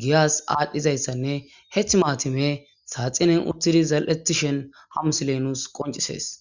giyas aadhdhizayssanne hethi maatime saaxinen uttidi zal'ttishen ha misile nuus qoncisees.